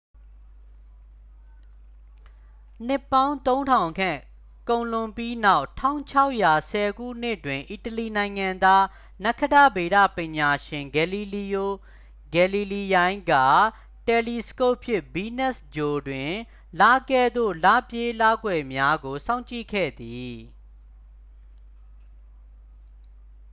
နှစ်ပေါင်း သုံးထောင်ခန့် ကုန်လွန်ပြီးနောက် 1610 ခုနှစ်တွင် အီတလီနိုင်ငံသား နက္ခတ္တဗေဒပညာရှင် ဂယ်လီလီယို ဂယ်လီလီယိုင်က တယ်လီစကုပ်ဖြင့် ဗီးနပ်စ်ဂြိုဟ်တွင် လကဲ့သို့ လပြည့်လကွယ်များကို စောင့်ကြည့်ခဲ့သည်